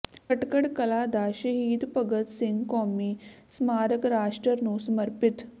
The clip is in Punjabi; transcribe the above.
ਖਟਕੜ ਕਲਾਂ ਦਾ ਸ਼ਹੀਦ ਭਗਤ ਸਿੰਘ ਕੌਮੀ ਸਮਾਰਕ ਰਾਸ਼ਟਰ ਨੂੰ ਸਮਰਪਿਤ